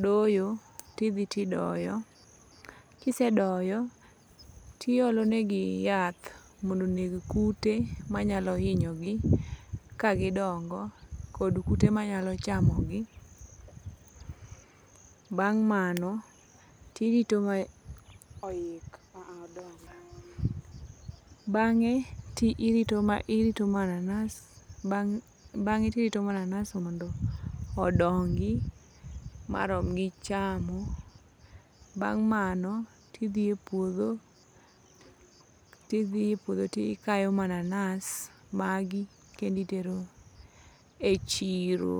doyo, tidhi tidoyo. Kisedoyo, tiolonegi yath mondo oneg kute manyalo hinyogi kagidongo kod kute manyalo chamogi. Bang' mano tirito, oik, ah odong, bang'e tirito mananas mondo odongi marom gi chamo. Bang' mano tidhie puodho tikayo mananas magi kenditero e chiro.